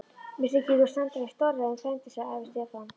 Mér þykir þú standa í stórræðum frændi, sagði afi Stefán.